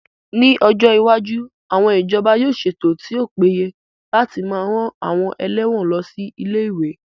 Ní ọjọ́ iwájú, àwọn ìjọba yóò ṣètò tí ó péye láti máa rán àwọn ẹlẹ́wọ̀n lọ sí ilé-ìwé